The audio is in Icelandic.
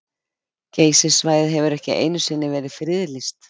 Geysissvæðið hefur ekki einu sinni verið friðlýst.